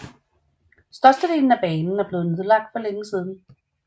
Størstedelen af banen er blevet nedlagt for længe siden